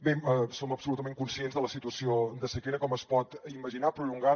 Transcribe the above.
bé som absolutament conscients de la situació de sequera com es pot imaginar prolongada